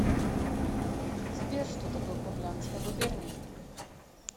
сбер что такое курляндская губерния